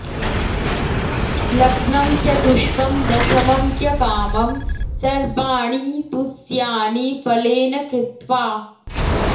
लग्नं चतुष्कं दशमं च कामं सर्वाणी तुस्यानि फलेन कृत्वा